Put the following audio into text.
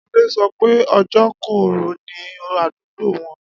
Adé so̩ pé òjò kò rò̩ ní àdúgbò wo̩n